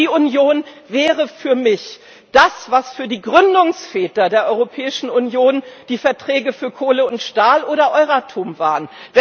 Energieunion wäre für mich das, was für die Gründungsväter der Europäischen Union die Verträge für Kohle und Stahl oder Euratom waren.